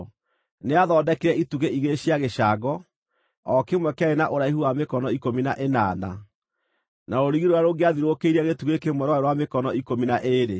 Nĩathondekire itugĩ igĩrĩ cia gĩcango, o kĩmwe kĩarĩ na ũraihu wa mĩkono ikũmi na ĩnana, na rũrigi rũrĩa rũngĩathiũrũrũkĩirie gĩtugĩ kĩmwe rwarĩ rwa mĩkono ikũmi na ĩĩrĩ.